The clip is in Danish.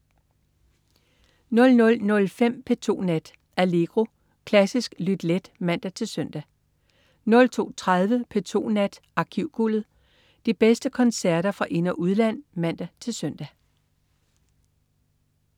00.05 P2 Nat. Allegro. Klassisk lyt let (man-søn) 02.30 P2 Nat. Arkivguldet. De bedste koncerter fra ind- og udland (man-søn)